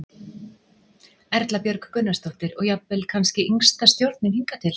Erla Björg Gunnarsdóttir: Og jafnvel kannski yngsta stjórnin hingað til?